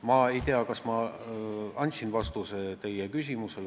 Ma ei tea, kas ma andsin teie küsimusele ammendava vastuse.